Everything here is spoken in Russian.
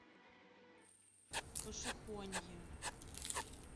пошехонье